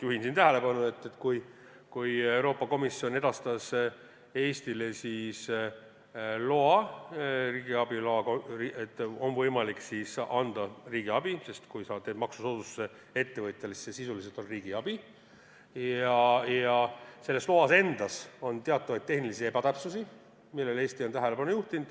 Juhin tähelepanu sellele, et kui Euroopa Komisjon edastas Eestile riigiabi loa – et on võimalik anda riigiabi, sest kui sa teed ettevõtjale maksusoodustuse, siis see sisuliselt on riigiabi –, siis selles loas endas oli teatavaid tehnilisi ebatäpsusi, millele Eesti on tähelepanu juhtinud.